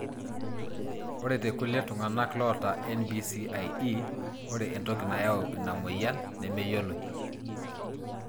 Ore tekulie tunganak lota NBCIE, ore entoki nayau ina moyian nemeyioloi.